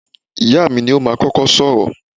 Ìyáà mi ni ó máa kọ́kọ́ sọ̀rọ̀.